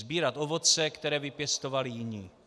Sbírat ovoce, které vypěstovali jiní.